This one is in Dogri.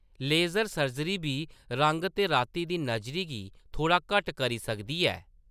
लेजर सर्जरी बी रंग ते राती दी नज़र गी थोह्‌ड़ा घट्ट करी सकदी ऐ।